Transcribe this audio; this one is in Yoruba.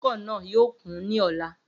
Ibùdókọ̀ náà yóò kún ní ọ̀la